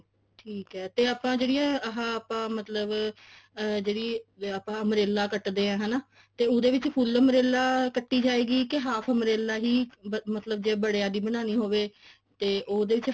ਠੀਕ ਐ ਠੀਕ ਐ ਤੇ ਆਪਾਂ ਜਿਹੜੀਆਂ ਆਹ ਆਪਾਂ ਮਤਲਬ ਜਿਹੜੀ ਆਪਾਂ umbrella ਕੱਟਦੇ ਹਾਂ ਹਨਾ ਤੇ ਉਹਦੇ ਵਿੱਚ ਫੁੱਲ umbrella ਕੱਟੀ ਜਾਏਗੀ ਕੇ half umbrella ਹੀ ਮਤਲਬ ਜੇ ਬੜਿਆ ਦੀ ਬਣਾਉਣੀ ਹੋਵੇ ਤੇ ਉਹਦੇ ਚ